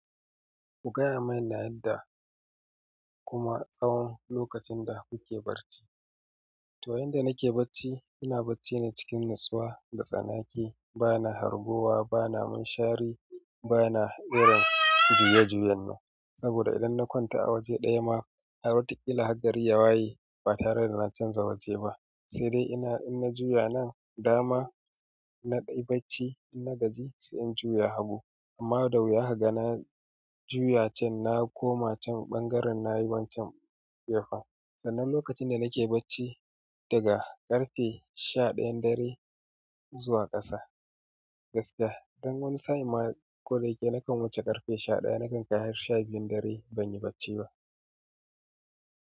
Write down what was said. Ku gaya mini yadda kuma tsawon lokacin da kuke bacci. To yanda nake bacci, ina bacci ne cikin natsuwa, datsanake, bana harguwa, bana munshari, bana irin juye-juyen ne. Saboda idan na kwanta a waje ɗaya ma, har watakila har gari yawaye ba tare da na canza waje ba. Sai dai ina, in na juya nan dama, ina dai bacci, in na gaji sai in juya hagu. Amma da wuya kaga na juya can, na koma can, ɓangaren nayi wancan gefen. Sannan lokacin da nake bacci, daga ƙarfe sha ɗayan dare zuwa ƙasa, gaskiya don wani sa'in ma ko da yake nakan wuce ƙarfe sha ɗaya, nakan kai har sha biyun dare ban yi bacci ba.